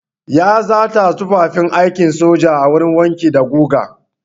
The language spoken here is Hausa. Ya zata tufafin aikin soja a wurin wanki da guga.